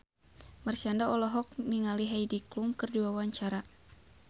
Marshanda olohok ningali Heidi Klum keur diwawancara